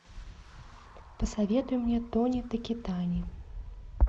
посоветуй мне тони такитани